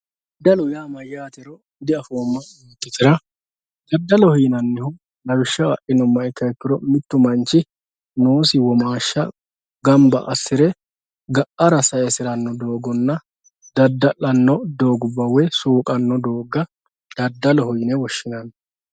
Dadalu ya mayatero diafimo yototera dadalojo yinanihu lawishaho adhinumoha ikiro mittu manchi umisi womasha ganba asire gaara sayisirano dogonna dadalano dogubba woy suqani dogga dadalojo yinne woshinanni